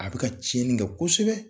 A bɛ ka tiɲɛni kɛ kosɛbɛ.